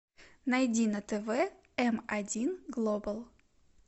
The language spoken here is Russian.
найди на тв эм один глобал